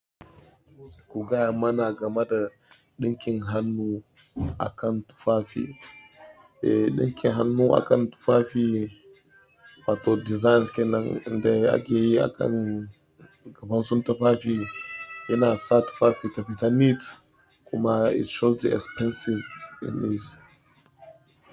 Ku gaya mana game da ɗinkin hannu akan tufafi. Eh, ɗinkin hannu akan tufafi wato designs kenan inda ake yi akan kamansun tufafi yana sa tufafi taɓita neat kuma it shows the expensive in it.